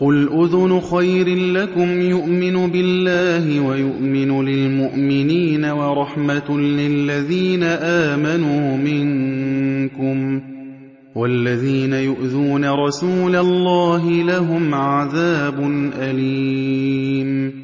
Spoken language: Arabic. قُلْ أُذُنُ خَيْرٍ لَّكُمْ يُؤْمِنُ بِاللَّهِ وَيُؤْمِنُ لِلْمُؤْمِنِينَ وَرَحْمَةٌ لِّلَّذِينَ آمَنُوا مِنكُمْ ۚ وَالَّذِينَ يُؤْذُونَ رَسُولَ اللَّهِ لَهُمْ عَذَابٌ أَلِيمٌ